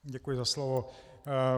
Děkuji za slovo.